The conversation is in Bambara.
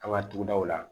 An ka dugudaw la